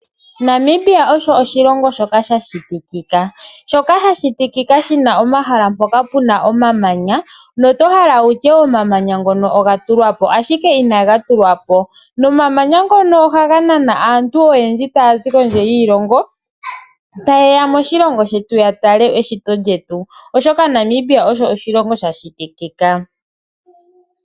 Namibia osho oshilongo shoka sha shitikika, shi na omahala mpoka pu na omamanya nota hala wu tye omamanya ngoka oga tulwa po, ashike inaga tulwa po. Omamanya ngono ohaga nana aantu oyendji taya zi kondje yiilongo taye ya moshilongo shetu ya tale eshito, oshoka Namibia osho oshilongo sha shitikika.